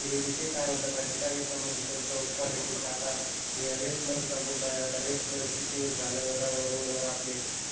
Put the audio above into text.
ते विषय काय होता माहितीये का ह्यांच्यामध्ये सांगतो पॉलिटिक्स आता हे रेसलर चा मुद्दाआहे आता रेसलर किती दिवस झाल रोड वर आपले